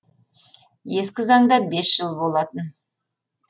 ескі заңда бес жыл болатын